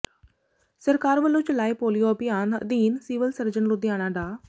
ਸਰਕਾਰ ਵੱਲੋਂ ਚਲਾਏ ਪੋਲੀਓ ਅਭਿਆਨ ਅਧੀਨ ਸਿਵਲ ਸਰਜਨ ਲੁਧਿਆਣਾ ਡਾ